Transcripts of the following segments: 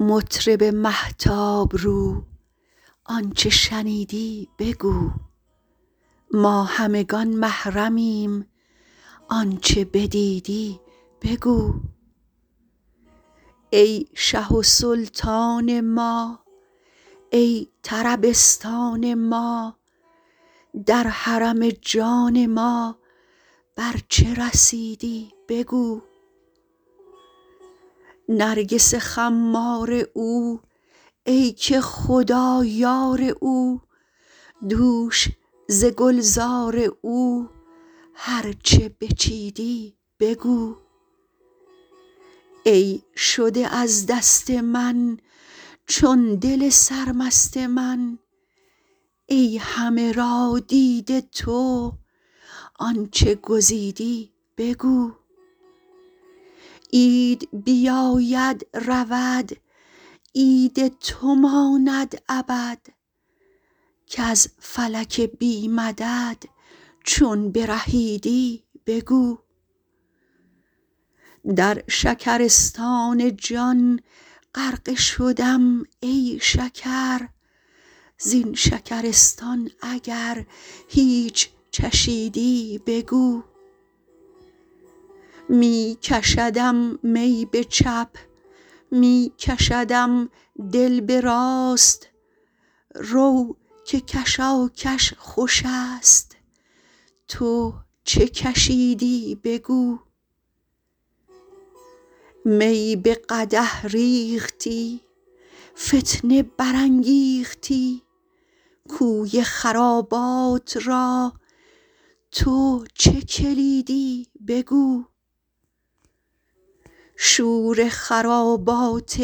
مطرب مهتاب رو آنچ شنیدی بگو ما همگان محرمیم آنچ بدیدی بگو ای شه و سلطان ما ای طربستان ما در حرم جان ما بر چه رسیدی بگو نرگس خمار او ای که خدا یار او دوش ز گلزار او هر چه بچیدی بگو ای شده از دست من چون دل سرمست من ای همه را دیده تو آنچ گزیدی بگو عید بیاید رود عید تو ماند ابد کز فلک بی مدد چون برهیدی بگو در شکرستان جان غرقه شدم ای شکر زین شکرستان اگر هیچ چشیدی بگو می کشدم می به چپ می کشدم دل به راست رو که کشاکش خوش است تو چه کشیدی بگو می به قدح ریختی فتنه برانگیختی کوی خرابات را تو چه کلیدی بگو شور خرابات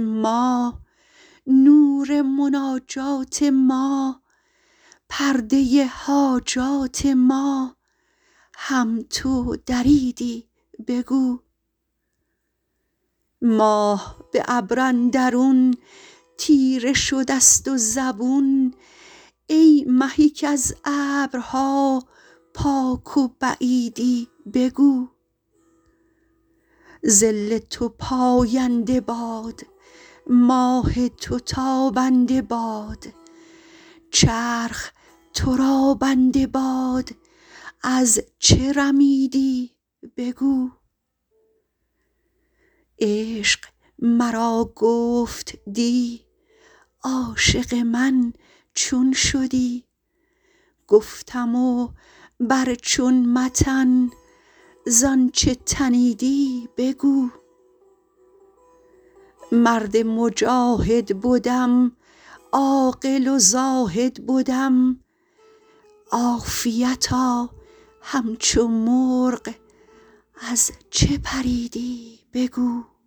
ما نور مناجات ما پرده حاجات ما هم تو دریدی بگو ماه به ابر اندرون تیره شده ست و زبون ای مه کز ابرها پاک و بعیدی بگو ظل تو پاینده باد ماه تو تابنده باد چرخ تو را بنده باد از چه رمیدی بگو عشق مرا گفت دی عاشق من چون شدی گفتم بر چون متن ز آنچ تنیدی بگو مرد مجاهد بدم عاقل و زاهد بدم عافیتا همچو مرغ از چه پریدی بگو